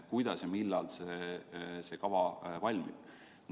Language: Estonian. Kuidas ja millal see kava valmib?